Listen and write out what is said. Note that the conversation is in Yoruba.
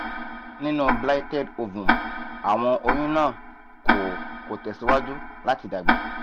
ninu blighted ovum awọn oyun na ko ko tẹsiwaju lati dagba